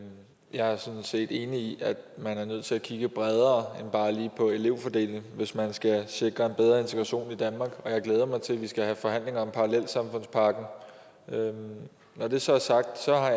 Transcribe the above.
jeg er sådan set enig i at man er nødt til at kigge bredere end bare lige på elevfordelingen hvis man skal sikre en bedre integration i danmark og jeg glæder mig til at vi skal have forhandlinger om parallelsamfundspakken når det så er sagt